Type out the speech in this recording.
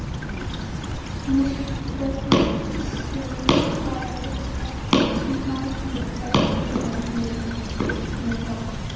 Mýkingarefnið glýserín fer illa í meltingarveg sumra neytenda.